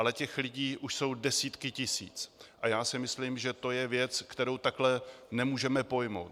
Ale těch lidí už jsou desítky tisíc a já si myslím, že to je věc, kterou takhle nemůžeme pojmout.